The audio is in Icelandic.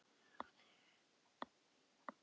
Á þig.